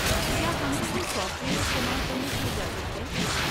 کیا ہمیں یہ سافٹ ویئر استعمال کرنے کی اجازت ہے؟